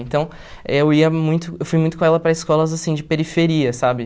Então, eu ia muito, eu fui muito com ela para escolas, assim, de periferia, sabe?